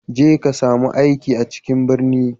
Je ka sami aiki a cikin birni